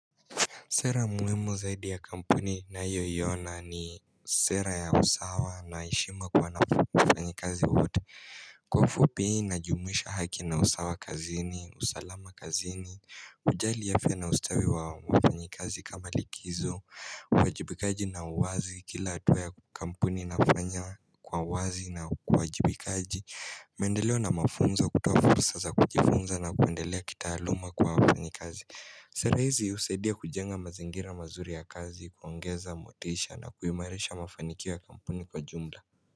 Sera muhimu zaidi ya kampuni ninayoona ni sera ya usawa na heshima kwa wafanyi kazi wote. Kwa ufupi najumuisha haki na usawa kazini, usalama kazini, kujali afya na ustawi wa wafanyi kazi kama likizo, uwajibikaji na uwazi kila hatua ya kampuni nafanya kwa uwazi na uwajibikaji. Mendeleo na mafunzo kutoa fursa za kujifunza na kuendelea kitaaluma kwa wafanyi kazi. Sera hizi husaidia kujenga mazingira mazuri ya kazi kuongeza motisha na kuimarisha mafanikio ya kampuni kwa jumla.